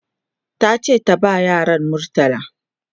tace ta ba yaran murtala